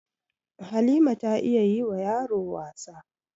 Halima ta iya yi wa yaro wasa